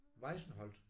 Weissenholt?